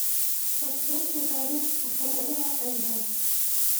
маршрут нотариус артамонова нв